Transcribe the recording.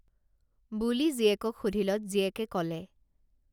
বুলি জীয়েকক সুধিলত জীয়েকে কলে